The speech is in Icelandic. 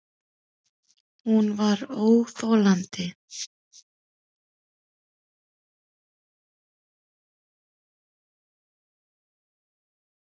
Hún var óþolandi.